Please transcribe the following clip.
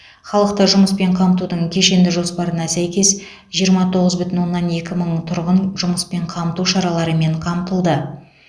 халықты жұмыспен қамтудың кешенді жоспарына сәйкес жиырма тоғыз бүтін оннан екі мың тұрғын жұмыспен қамту шараларымен қамтылды